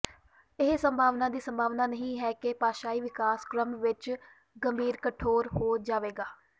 ਇਹ ਸੰਭਾਵਨਾ ਦੀ ਸੰਭਾਵਨਾ ਨਹੀਂ ਹੈ ਕਿ ਭਾਸ਼ਾਈ ਵਿਕਾਸ ਕ੍ਰਮ ਵਿੱਚ ਗੰਭੀਰ ਕਠੋਰ ਹੋ ਜਾਵੇਗਾ